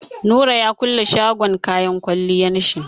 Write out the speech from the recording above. Nura ya kulle shagon kayan kwalliyan shi.